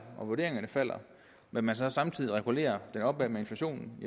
og vurderingerne falder men man så samtidig regulerer det opad med inflationen